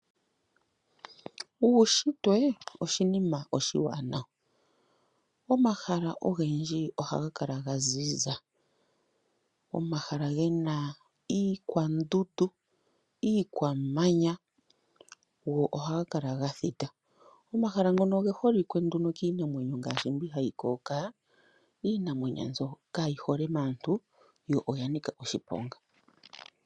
Uushitwe oshinima oshiwanawa. Omahala ogendji ohaga kala ga ziza. Omahala gena oondundu nomamanya, go ohaga kala ga thita. Omahala ngoka oge holike nduno kiinamwenyo ngaashi mbyono hayi kokoloka, iinamwenyo mbyoka kayi hole paantu yo oyanika oshiponga.